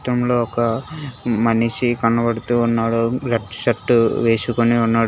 చిత్రంలో ఒక మనిషి కనబడుతూ ఉన్నాడు రెడ్ షర్ట్ వేసుకొని ఉన్నాడు.